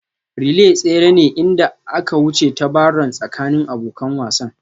Relay tsere ne inda aka wuce ta Barron tsakanin abokan wasan